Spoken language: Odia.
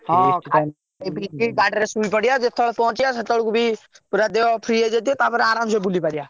ହଁ ଖାଇ ପି ଦେଇକି ଗାଡିରେ ଶୋଇ ପଡିଆ ଯେତେବେଳେ ବି ପହଞ୍ଚିଆ ଦେହ free ହେଇଯାଇଥିବ ଆରମସେ ବୁଲିବା।